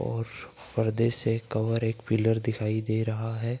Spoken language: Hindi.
और पर्दे से कवर एक पिलर दिखाई दे रहा है।